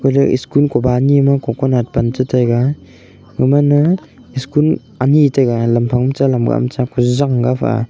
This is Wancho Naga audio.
galey school koba ani ma coconut pan che che taiga emana school ani chaiga lam phang ta lamga ma ta.